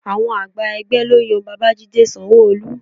Àwọn àgbà ẹgbẹ́ ló yan Babajide Sanwo-Olu